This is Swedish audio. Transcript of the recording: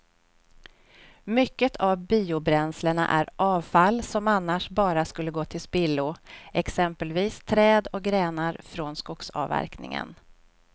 Mycket av biobränslena är avfall som annars bara skulle gå till spillo, exempelvis träd och grenar från skogsavverkningen.